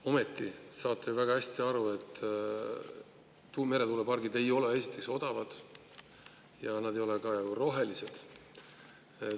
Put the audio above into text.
Ometi saate ju väga hästi aru, et meretuulepargid ei ole esiteks odavad ja need ei ole ka rohelised.